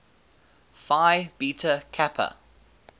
phi beta kappa